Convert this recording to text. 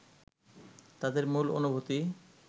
তাদের মূল অনুভূতি